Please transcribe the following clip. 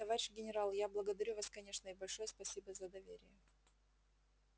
товарищ генерал я благодарю вас конечно и большое спасибо за доверие